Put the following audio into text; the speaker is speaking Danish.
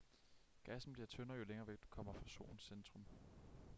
gassen bliver tyndere jo længere væk du kommer fra solens centrum